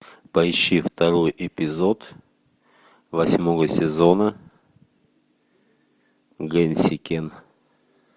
поищи второй эпизод восьмого сезона гэнсикэн